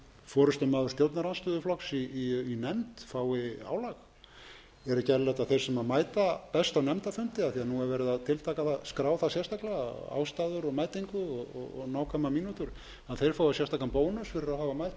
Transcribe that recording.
forustumaður stjórnarandstöðuflokks í nefnd fái álag er ekki eðlilegt að þeir sem mæta best á nefndarfundi af því að nú er verið að tiltaka það og skrá það sérstaklega ástæður og mætingu og nákvæmar mínútur að þeir fái sérstakan bónus fyrir að hafa mætt vel á